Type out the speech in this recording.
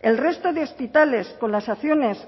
el resto de hospitales con las acciones